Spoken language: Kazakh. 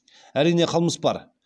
әрине қылмыс бар